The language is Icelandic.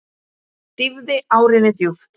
Dýfði árinni djúpt.